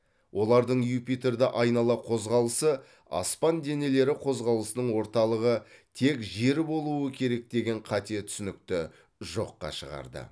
олардың юпитерді айнала қозғалысы аспан денелері қозғалысының орталығы тек жер болуы керек деген қате түсінікті жоққа шығарды